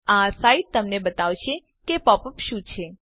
આ સાઈટ તમને બતાવશે કે પોપ અપ શું છે